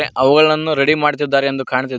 ಅವುಗಳನ್ನು ರೆಡಿ ಮಾಡ್ತಿದ್ದಾರೆ ಎಂದು ಕಾಣ್ತಿದೆ.